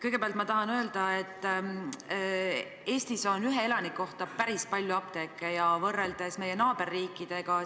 Kõigepealt ma tahan öelda, et Eestis on ühe elaniku kohta päris palju apteeke, seda ka võrreldes meie naaberriikidega.